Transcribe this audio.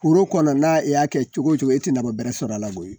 Foro kɔnɔ n'a e y'a kɛ cogo cogo e tɛ nafa bɛrɛ sɔrɔ a la.